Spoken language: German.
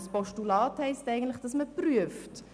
Ein Postulat bedeutet, dass man etwas prüft.